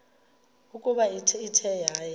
ukuba ithe yaya